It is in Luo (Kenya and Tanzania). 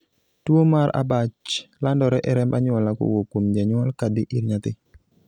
tuo mar abach landore e remb anyuola kowuok kuom janyuol kadhi ir nyathi